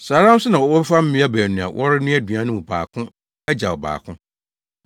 Saa ara nso na wɔbɛfa mmea baanu a wɔrenoa aduan no mu baako agyaw ɔbaako.